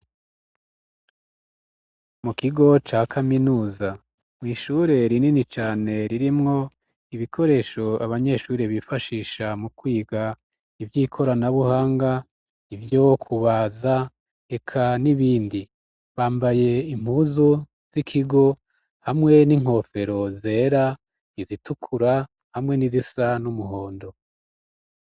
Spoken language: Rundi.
Mu kigo ca kaminuza mw'ishure rinini cane, ririmwo ibikoresho abanyeshuri bifashisha mu kwiga ivy'ikoranabuhanga, ivyo kubaza eka n'ibindi. Bambaye impuzu z'ikigo hamwe n'inkofero zera, izitukur, hamwe n'izisa n'umuhondo.